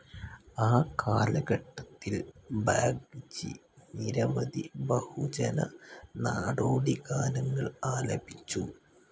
ആ കാലഘട്ടത്തിൽ ബാഗ്ചി നിരവധി ബഹുജന, നാടോടി ഗാനങ്ങൾ ആലപിച്ചു.